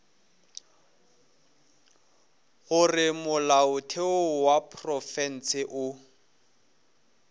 gore molaotheo wa profense o